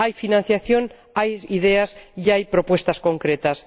Hay financiación, hay ideas y hay propuestas concretas.